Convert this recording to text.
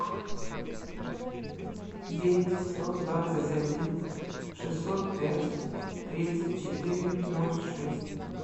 девять сто двадцать один шестьсот пять тридцать четыре ноль шесть